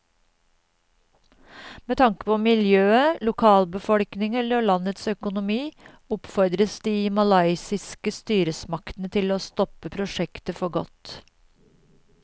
Med tanke på miljøet, lokalbefolkningen og landets økonomi oppfordres de malaysiske styresmaktene til å stoppe prosjektet for godt.